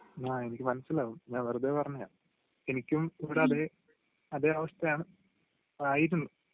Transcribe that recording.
ങാ..എനിക്ക് മനസിലാകും, ഞാൻ വെറുതെ പറഞ്ഞതാ..എനിക്കും ഇവിടതേ..അതേ അവസ്ഥയാണ്, ആയിരുന്നു.